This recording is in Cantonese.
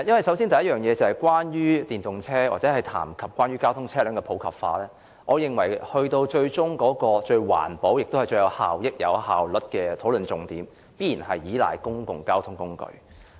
首先，關於電動車或談及關於推廣電動車輛的普及化問題，我認為最終最環保、最有效益及最有效率的討論重點，必然是倚賴公共交通工具。